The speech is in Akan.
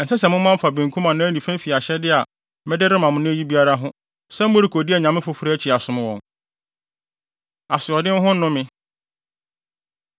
Ɛnsɛ sɛ moman fa benkum anaa nifa fi ahyɛde a mede rema mo nnɛ yi biara ho sɛ morekodi anyame foforo akyi asom wɔn. Asoɔden Ho Nnome